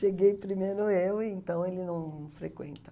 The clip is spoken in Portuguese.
Cheguei primeiro eu, então ele não frequenta.